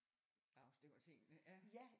Afstemmer tingene ja